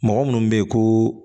Mɔgɔ minnu bɛ yen ko